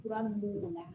Kura mun b' o la